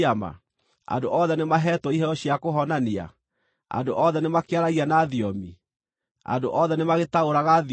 Andũ othe nĩmaheetwo iheo cia kũhonania? Andũ othe nĩmakĩaragia na thiomi? Andũ othe nĩmagĩtaũraga thiomi?